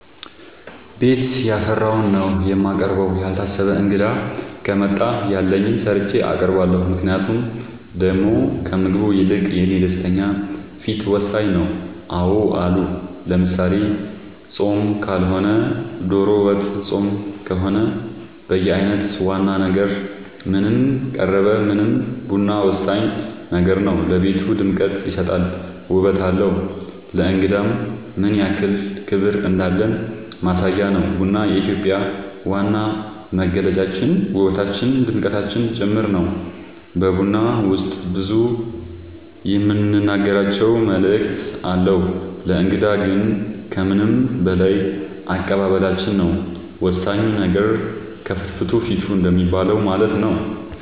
ቤት ያፈራውን ነው የማቀርበው ያልታሰበ እንግዳ ከመጣ ያለኝን ሰርቼ አቀርባለሁ ምክንያቱም ደሞ ከምግቡ ይልቅ የኔ ደስተኛ ፊት ወሳኝ ነው አዎ አሉ ለምሳሌ ፆም ካልሆነ ዶሮ ወጥ ፆም ከሆነ በየአይነት ዋና ነገር ምንም ቀረበ ምንም ቡና ወሳኝ ነገር ነው ለቤቱ ድምቀት ይሰጣል ውበት አለው ለእንግዳም ምንያክል ክብር እንዳለን ማሳያ ነው ቡና የኢትዮጵያ ዋና መገለጫችን ውበታችን ድምቀታችን ጭምር ነው በቡና ውስጥ ብዙ የምንናገራቸው መልዕክት አለው ለእንግዳ ግን ከምንም በላይ አቀባበላችን ነው ወሳኙ ነገር ከፍትፍቱ ፊቱ እንደሚባለው ማለት ነው